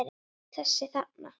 Þessa þarna!